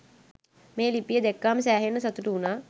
මේ ලිපිය දැක්කම සෑහෙන්න සතුටු වුනා.